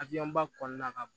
ba kɔnɔna na ka